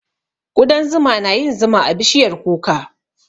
Ƙudan zuma na yin zuma a bishiyar kuka.